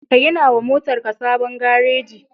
Ka gina wa motarka sabon gareji.